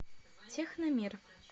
техномир